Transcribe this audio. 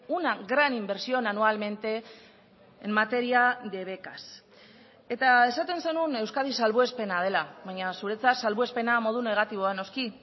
una gran inversión anualmente en materia de becas eta esaten zenuen euskadi salbuespena dela baina zuretzat salbuespena modu negatiboan noski